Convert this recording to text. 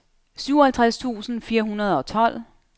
syvoghalvtreds tusind fire hundrede og tolv